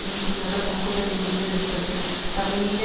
ரீதியான தாக்குதலை முன்னெடுத்தது தமிழீழ